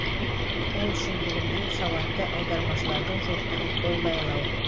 ол үшін бүгінде сауатты аудармашылардың жоқтығы қол байлау